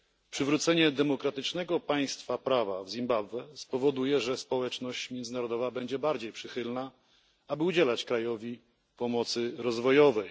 Przywrócenie demokratycznego państwa prawa w Zimbabwe spowoduje, że społeczność międzynarodowa będzie bardziej skłonna udzielać krajowi pomocy rozwojowej.